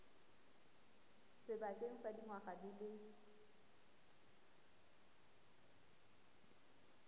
sebakeng sa dingwaga di le